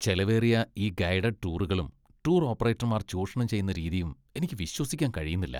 ചെലവേറിയ ഈ ഗൈഡഡ് ടൂറുകളും. ടൂർ ഓപ്പറേറ്റർമാർ ചൂഷണം ചെയ്യുന്ന രീതിയും എനിക്ക് വിശ്വസിക്കാൻ കഴിയുന്നില്ല.